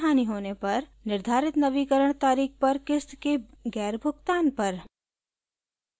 निर्धारित नवीकरण तारीख़ पर क़िस्त के गैरभुगतान पर